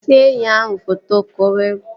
See enyi ahụ foto! Ka o kwuru